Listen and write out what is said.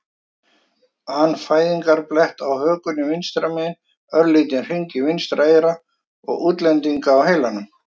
an fæðingarblett á hökunni vinstra megin, örlítinn hring í vinstra eyra og útlendinga á heilanum.